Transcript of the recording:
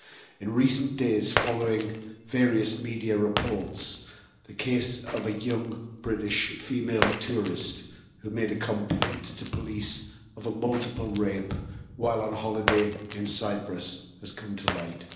In recent days, following various media reports, the case of a young British female tourist who made a complaint to police of a multiple rape while on holiday in Cyprus has come to light.